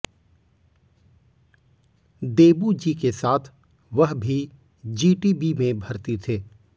देबू जी के साथ वह भी जीटीबी में भर्ती थे